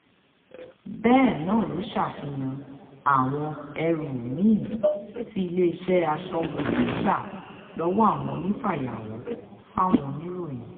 bẹ́ẹ̀ náà ló ṣàfihàn àwọn ẹrù mí-ín tí iléeṣẹ́ aṣọ́bodè gbà lọ́wọ́ àwọn onífàyàwọ́ fáwọn oníròyìn